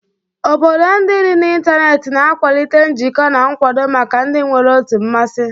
Obodo ndị dị n'ịntanetị na-akwalite njikọ na nkwado maka ndị nwere otu mmasị.